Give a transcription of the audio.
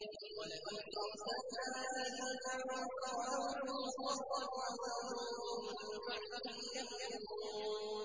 وَلَئِنْ أَرْسَلْنَا رِيحًا فَرَأَوْهُ مُصْفَرًّا لَّظَلُّوا مِن بَعْدِهِ يَكْفُرُونَ